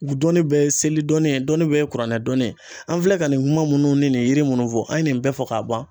U dɔnni bɛɛ ye seli dɔnni ye ,dɔnni bɛɛ ye kuranɛ dɔnni ye . An filɛ ka nin kuma munnu ni nin yiri munnu fɔ ,an ye nin bɛɛ fɔ ka ban